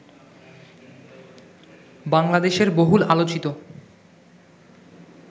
বাংলাদেশের বহুল আলোচিত